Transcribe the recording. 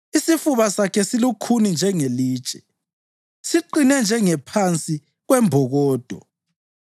Isifuba sakhe silukhuni njengelitshe, siqine njengengaphansi kwembokodo.